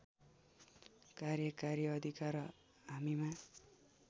कार्यकारी अधिकार हामीमा